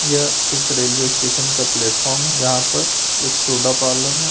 यह एक railway station का प्लेटफॉर्म है यहां पे एक सुधा पार्लर है।